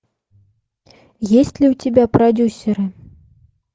есть ли у тебя продюсеры